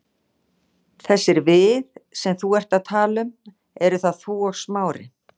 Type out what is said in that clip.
Þessir við sem þú ert að tala um, eru það þú og Smári?